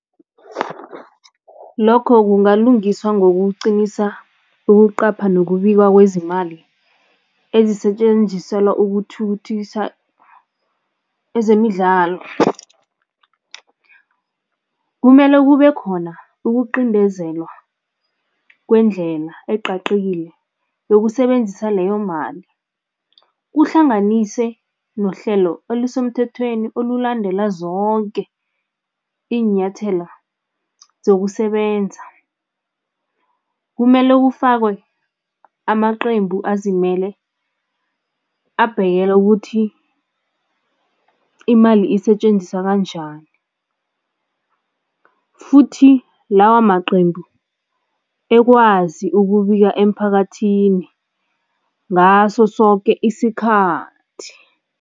Lokho kungalungiswa ngokuqinisa ukuqapha nokubikwa kwezemali ezisetjenziselwa ukuthukuthisa ezemidlalo. Kumele kube khona ukuqindezelwa kwendlela ecacile yokusebenzisa leyo mali, kuhlanganise nehlelo elisemthethweni olulandela zonke iinyathela zokusebenza. Kumele kufakwe amaqembu azimele abhekela ukuthi imali isetjenziswa kanjani futhi lawa maqembu ekwazi ukubika emphakathini ngaso soke isikhathi.